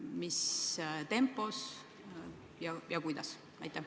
Millises tempos ja kuidas?